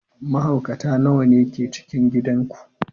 Mahaukata nawa ne ke cikin gidan ku?